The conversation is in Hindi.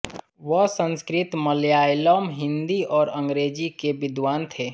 वह संस्कृत मलयालम हिंदी और अंग्रेजी के विद्वान थे